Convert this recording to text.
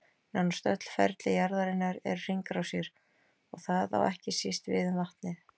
Nánast öll ferli jarðarinnar eru hringrásir, og það á ekki síst við um vatnið.